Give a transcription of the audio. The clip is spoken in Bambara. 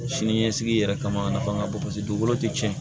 Sini ɲɛsigi yɛrɛ kama a nafa ka bon paseke dugukolo tɛ tiɲɛ